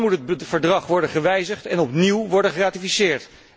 Dan moet het verdrag worden gewijzigd en opnieuw worden geratificeerd.